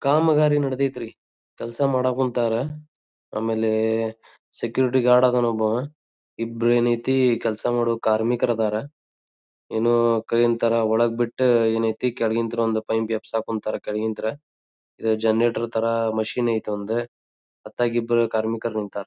ಕಾಮಗಾರಿ ನಡದೈತ್ರಿ ಕೆಲಸ್ ಮಾಡಕುಂತ್ತರ್ ಆಮೇಲೆ ಸೆಕ್ಯೂರಿಟಿ ಗಾರ್ಡ್ ಅದ್ನ್ ಒಬ್ಬವ್ ಇಬ್ರ ಏನ್ ಆಯ್ತಿ ಕೆಲಸ ಮಾಡೋ ಕಾರಮಿಕ್ರ ಅದರ್ ಏನೋ ಕೈನ್ ತರ ಒಳಗ್ ಬಿಟ್ಟ ಏನ್ ಆಯ್ತಿ ಕೆಳಗಿನ್ ತರ ಒಂದ್ ಪೈಪ್ ಎಬ್ಬಸಕುಂತ್ತರ್ ಕೆಳಗಿಂತ್ರ ಇದು ಜನರೇಟರ್ ತರ ಮಿಷನ್ ಆಯ್ತಿ ಒಂದ್ ಹೊತ್ತಾಗಿಬ್ರು ಕಾರ್ಮಿಕರು ನಿಂತರ್.